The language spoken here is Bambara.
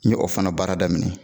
N ye o fana baara daminɛ.